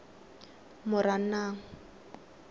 moranang